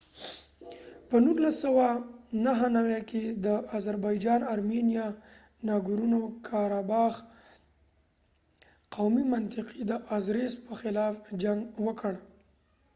په 1994 کي د آزربایجان ارمنیایی ناګورنو کاراباخ قومي منطقې د آزریس په خلاف جنګ وکړ